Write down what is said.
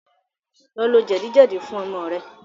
Lọ lò àgbò jedi jedi fún ọmọ rẹ